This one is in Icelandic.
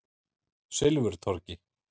Silfurtorgi